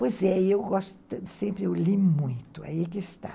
Pois é, eu gosto sempre, eu li muito, aí que está.